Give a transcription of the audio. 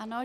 Ano.